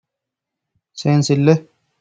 Seensille.